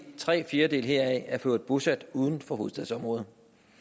tre fjerdedele heraf er for øvrigt bosat uden for hovedstadsområdet